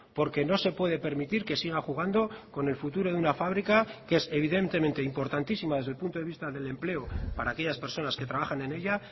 porque no se puede permitir que siga jugando con el futuro de una fábrica que es evidentemente importantísima desde el punto de vista del empleo para aquellas personas que trabajan en ella